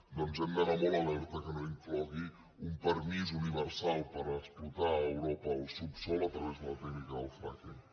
doncs hem d’anar molt alerta que no inclogui un permís universal per explotar a europa el subsòl a través de la tècnica del fracking